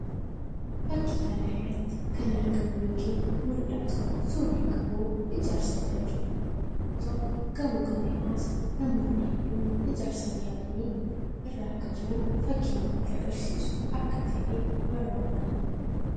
Fakkii kana irratti kan argamu yookiin mullatu suuraa gamoo ijaarsa irra jiru yammuu tahu; gamoo kan irras namoonni hedduun ijaarsaaf yaabanii irra akka jiran fakkii namatti agaraiisu akka tahee irra hubanna.